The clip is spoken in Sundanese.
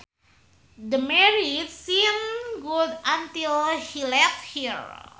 The marriage seemed good until he left her